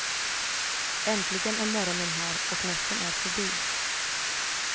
Äntligen är morgonen här och natten är förbi.